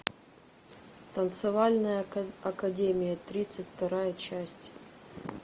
танцевальная академия тридцать вторая часть